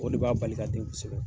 O de b'a bali ka den kosɛbɛ.